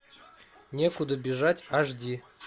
некуда бежать аш ди